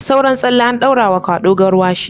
Da sauran tsalle an daura wa kwado garwash